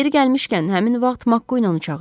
Yeri gəlmişkən, həmin vaxt Makkuu onu çağırdı.